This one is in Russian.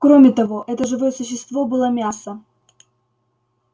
кроме того это живое существо было мясо